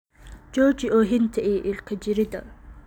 Jooji oohinta iyo ilka jirridda.